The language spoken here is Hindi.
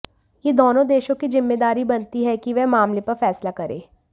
यह दोनों देशों की जिम्मेदारी बनती है कि वह मामले पर फैसला करे